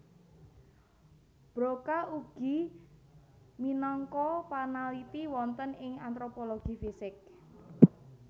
Broca ugi minangka panaliti wonten ing antropologi fisik